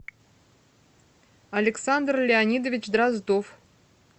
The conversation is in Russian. александр леонидович дроздов